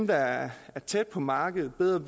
der er tæt på markedet bedre